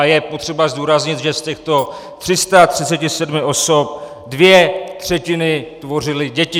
A je potřeba zdůraznit, že z těchto 337 osob dvě třetiny tvořily děti.